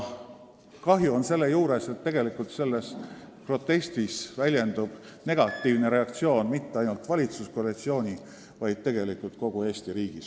Kahju on aga sellest, et tegelikult selles protestis väljendub negatiivne hinnang mitte ainult valitsuskoalitsioonile, vaid kogu Eesti riigile.